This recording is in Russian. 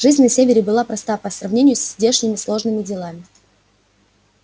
жизнь на севере была проста по сравнению со здешними сложными делами